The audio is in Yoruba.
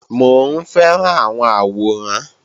Mò ń fẹ́ràn àwọn àwòrán